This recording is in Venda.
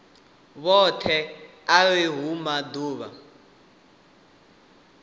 vhoṱhe arali hu uri maḓuvha